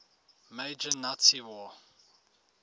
major nazi war